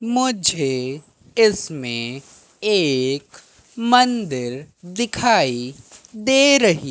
मुझे इसमें एक मंदिर दिखाई दे रही--